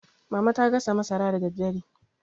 mama ta gasa masara da daddare